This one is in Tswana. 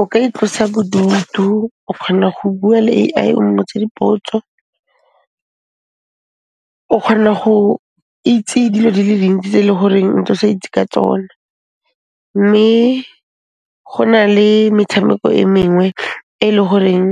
O ka itlosa bodutu, o kgona go bua le A_I, o mmotse dipotso. O kgona go itse dilo di le dintsi tse e le goreng ntse o sa itse ka tsona, mme go na le metshameko e mengwe e le horeng